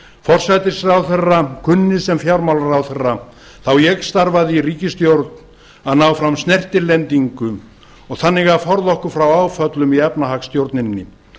forsætisráðherra kunni sem fjármálaráðherra þá ég starfaði í ríkisstjórn að ná fram snertilendingu og þannig að forða okkur frá áföllum í efnahagsstjórninni